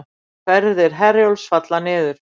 Ferðir Herjólfs falla niður